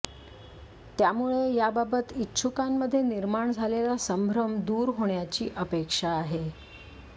त्यामुळे याबाबत इच्छुकांमध्ये निर्माण झालेला संभ्रम दूर होण्याची अपेक्षा आहे